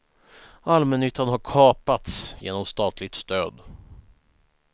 Allmännyttan har kapats genom statligt stöd.